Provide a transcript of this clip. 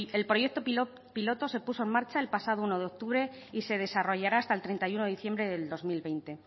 el proyecto piloto se puso en marcha el pasado uno de octubre y se desarrollará hasta el treinta y uno de diciembre del dos mil veinte